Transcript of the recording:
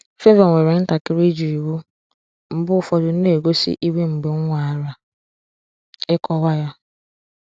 Favour nwere ntakịrị ịjụ iwu, mgbe ụfọdụ na-egosi iwe mgbe m nwara ịkọwa ya.